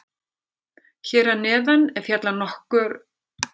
Hér að neðan er fjallað nánar um nokkra þessara þátta.